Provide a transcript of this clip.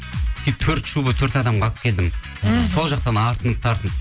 төрт шуба төрт адамға алып келдім мхм сол жақтан артынып тартынып